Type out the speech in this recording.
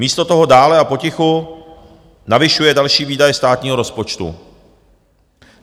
Místo toho dále a potichu navyšuje další výdaje státního rozpočtu.